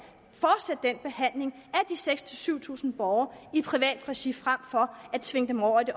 de seks tusind syv tusind borgere i privat regi frem for at tvinge dem over i det